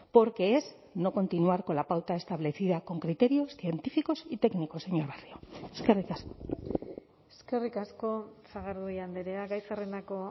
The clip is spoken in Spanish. porque es no continuar con la pauta establecida con criterios científicos y técnicos señor barrio eskerrik asko eskerrik asko sagardui andrea gai zerrendako